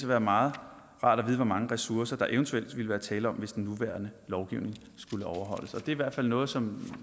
være meget rart at vide hvor mange ressourcer der eventuelt ville være tale om hvis den nuværende lovgivning skulle overholdes det i hvert fald noget som